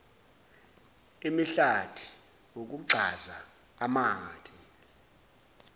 imihlati ukugxaza amathe